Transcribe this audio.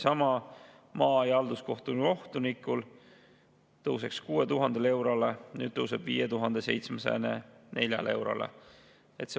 Maa- ja halduskohtu kohtunikul tõuseks muidu 6000 eurole, nüüd tõuseb 5704 eurole.